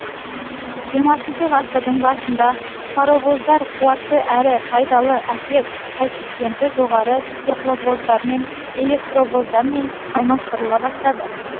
жиырмасыншы ғасырдың басында паровоздар қуатты әрі пайдалы әсер коэффициенті жоғары тепловоздармен электровоздармен алмастырыла бастады